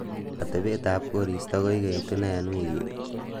atebet ab koristo koigeitu nee en wigini